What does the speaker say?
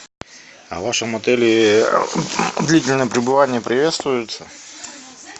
а в вашем отеле длительное пребывание приветствуется